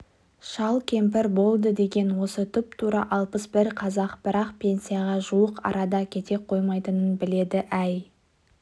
шал-кемпір болды деген осы тұп-тура алпыс бір қазір бірақ пенсияға жуық арада кете қоймайтынын біледі әй